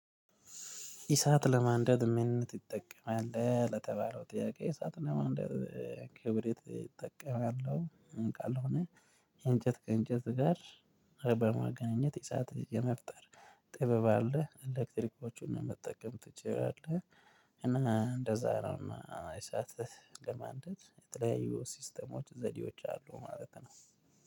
እሳት ለማንደድ ምን ትጠቀማለህ? ለተባለው ጥያቄ እሳት ለማንደድ ክብሪት እጠቀማለሁ ካልሆነ እንጨት ከእንጨት ጋር በማገናኘት እሳት የመፍጠር ጥበብ አለ ኤሌክትሪኮቹን ለመጠቀም ትችላለህ እና እንደዛ ነው እሳት ለማንደድ የተለያዩ ሲስተሞች ዘዴዎች አሉ ማለት ነው